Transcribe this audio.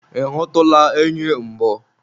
ị hụtụla enyi mbụ?